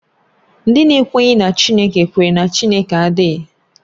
Ndị na-ekweghị na Chineke kwere na Chineke adịghị